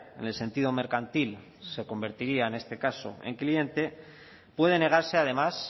en el sentido mercantil se convertiría en este caso en cliente puede negarse además